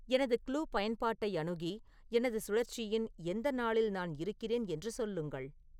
எனது க்ளூ பயன்பாட்டை அணுகி எனது சுழற்சியின் எந்த நாளில் நான் இருக்கிறேன் என்று சொல்லுங்கள்